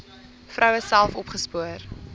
vroue self opgespoor